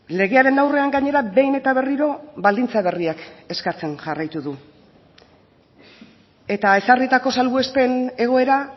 legearen aurrean gainera behin eta berriro baldintza berriak eskatzen jarraitu du eta ezarritako salbuespen egoera